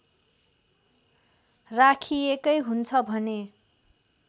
राखिएकै हुन्छ भने